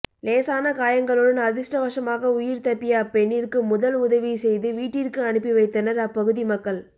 லேசான காயங்களுடன் அதிர்ஷ்டவசமாக உயிர் தப்பிய அப்பெண்ணிற்கு முதல் உதவி செய்து வீட்டிற்கு அனுப்பி வைத்தனர் அப்பகுதி மக்கள்